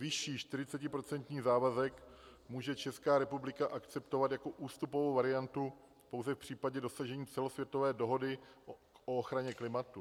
Vyšší, 40% závazek může Česká republika akceptovat jako ústupovou variantu pouze v případě dosažení celosvětové dohody o ochraně klimatu.